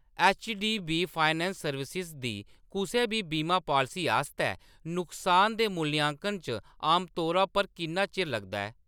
HDB finance services दी कुसै बी बीमा पालसी आस्तै नुकसान दे मूल्यांकन च आमतौरा पर किन्ना चिर लगदा ऐ ?